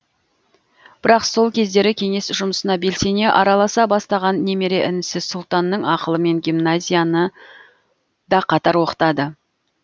бірақ сол кездері кеңес жұмысына белсене араласа бастаған немере інісі сұлтанның ақылымен гимназияны да қатар оқытады